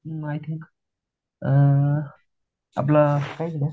I think आपलं